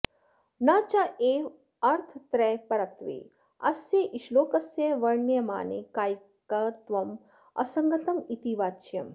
न चैव अर्थत्रयपरत्वे अस्य श्लोकस्य वर्ण्यमाने कायिकत्वं असङ्गतं इति वाच्यम्